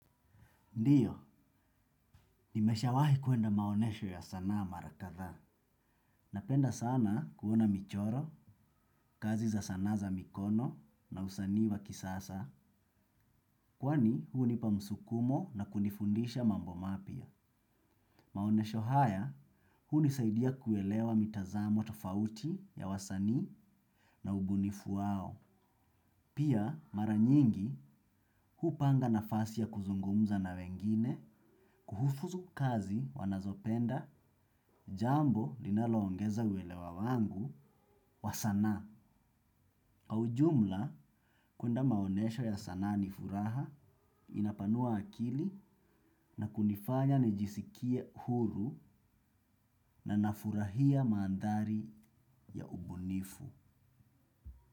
Ndiyo, nimesha wahi kuenda maonesho ya sanaa marakathaa. Napenda sana kuona michoro, kazi za sanaa za mikono na usanii wa kisasa. Kwani huu hunipa msukumo na kunifundisha mambo mapia. Maonesho haya, huu nisaidia kuelewa mitazamo tafauti ya wasani na ubunifu wao. Pia mara nyingi hupanga nafasi ya kuzungumza na wengine kuhufuzu kazi wanazopenda jambo linaloongeza uelewa wangu wa sanaa. Kwa ujumla, kuenda maonesho ya sana ni furaha inapanua akili na kunifanya nijisikie huru na nafurahia maandhari ya ubunifu.